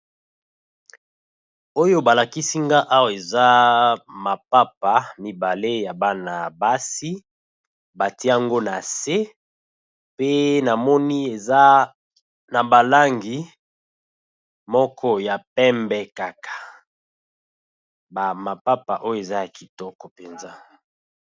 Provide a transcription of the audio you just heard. Oyo ba lakisi nga awa eza mapapa mibale ya bana basi, ba tie yango na se pe na moni eza na ba langi moko ya pembe kaka ba mapapa oyo eza ya kitoko mpenza.